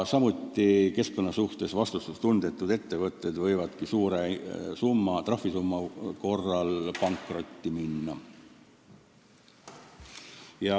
Ja keskkonna suhtes vastutustundetud ettevõtted võivadki suure trahvisumma korral pankrotti minna.